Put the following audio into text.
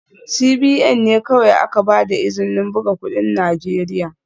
CBN ne kawai aka ba da izinin buga kudin Najeriya